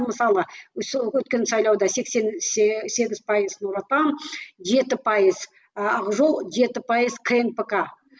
мысалы сол өткен сайлауда сексен сегіз пайыз нұр отан жеті пайыз ақ жол жеті пайыз кнпк